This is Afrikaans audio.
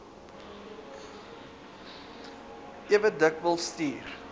ewe dikwels stuur